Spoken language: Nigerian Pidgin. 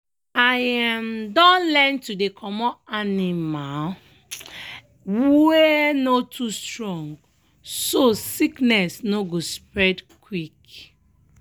i um don learn to dey comot animal um wey um no too strong so sickness no go spread quick.